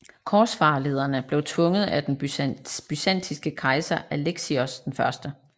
Korsfarerlederne blev tvunget af den byzantinske kejser Alexios 1